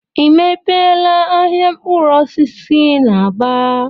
I mepeela ahịa mkpụrụ osisi n'Aba?